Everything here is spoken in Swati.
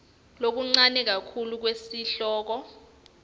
lokuncane kakhulu kwesihloko